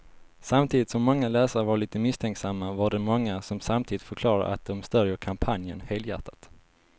Samtidigt som många läsare var lite misstänksamma var det många som samtidigt förklarade att de stödjer kampanjen helhjärtat.